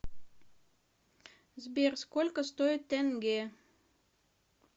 сбер сколько стоит тенге